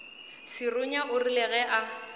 serunya o rile ge a